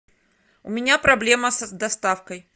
у меня проблема с доставкой